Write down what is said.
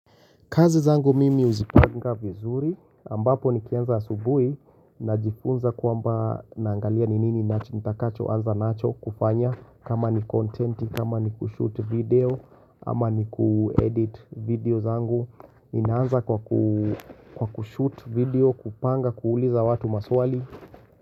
Kazi zangu mimi huzipanga vizuri ambapo nikianza asubuhi najifunza kwamba naangalia ni nini ninacho, nitakachoanza nacho kufanya kama ni kontenti, kama ni kushoot video ama ni kuedit video zangu, ninaanza kwa kushoot video, kupanga kuuliza watu maswali.